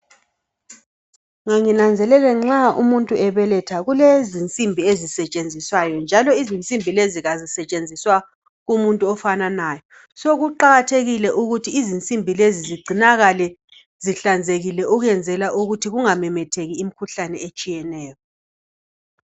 Nganginanzelele nxa umuntu bebeletha kulezinsimbi ezisetshenziswayo njalo izinsimbi lezi azisetshenziselwa umuntu ofananayo. Kuqakathekile ukuthi izinsimbi lezi zigcinakale zihlanzekile ukwenzela ukuthi kungamemetheki imikhuhlane etshiyeneyo.